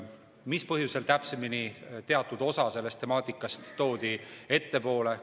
Mis põhjusel toodi teatud osa sellest temaatikast ettepoole?